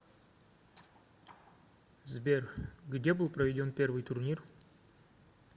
сбер где был проведен первый турнир